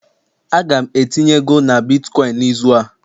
Aga m etinye ego na bitkọịn n'izu a